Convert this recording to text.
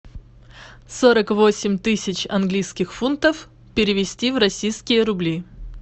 сорок восемь тысяч английских фунтов перевести в российские рубли